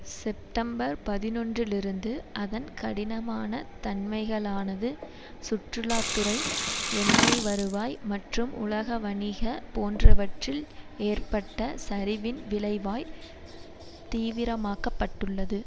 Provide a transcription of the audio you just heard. September பதினொன்று இலிருந்து அதன் கடினமான தன்மைகளானது சுற்றுலா துறை எண்ணெய் வருவாய் மற்றும் உலக வணிகம் போன்றவற்றில் ஏற்பட்ட சரிவின் விளைவாய் தீவிரமாக்கப்பட்டுள்ளது